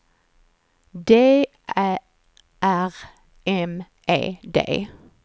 D Ä R M E D